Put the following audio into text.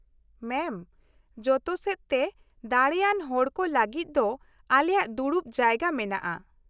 ᱢᱮᱢ, ᱡᱚᱛᱚ ᱥᱮᱫᱛᱮ ᱫᱟᱲᱮᱭᱟᱱ ᱦᱚᱲᱠᱚ ᱞᱟᱹᱜᱤᱫ ᱫᱚ ᱟᱞᱮᱭᱟᱜ ᱫᱩᱲᱩᱵ ᱡᱟᱭᱜᱟ ᱢᱮᱱᱟᱜᱼᱟ ᱾